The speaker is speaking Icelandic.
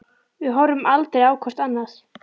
Við horfum aldrei á hvort annað.